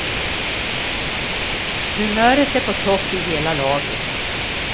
Humöret är på topp i hela laget.